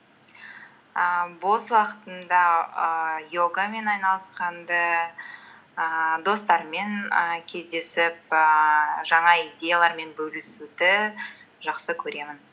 ііі бос уақытымда ііі йогамен айналысқанды ііі достармен і кездесіп ііі жаңа идеялармен бөлісуді жақсы көремін